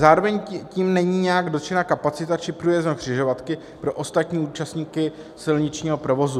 Zároveň tím není nijak dotčena kapacita či průjezdnost křižovatky pro ostatní účastníky silničního provozu.